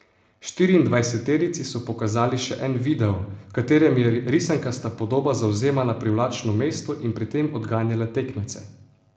Štiriindvajseterici so pokazali še en video, v katerem je risankasta podoba zavzemala privlačno mesto in pri tem odganjala tekmece.